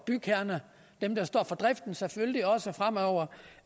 bygherrerne dem der står for driften selvfølgelig også fremover